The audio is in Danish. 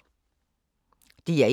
DR1